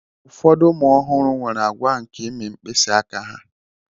ụfọdụ ụmụ ọhụrụ nwere àgwà nke ịmị mkpịsị aka ha